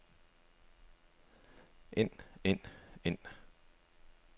end end end